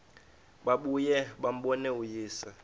babuye bambone uyise